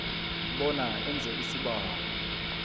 bona enze isibawo